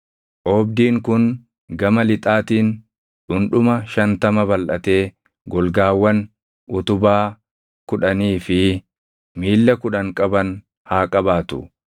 “Oobdiin kun gama lixaatiin dhundhuma shantama balʼatee golgaawwan, utubaa kudhanii fi miilla kudhan qaban haa qabaatu.